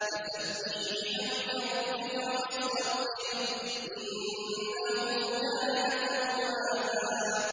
فَسَبِّحْ بِحَمْدِ رَبِّكَ وَاسْتَغْفِرْهُ ۚ إِنَّهُ كَانَ تَوَّابًا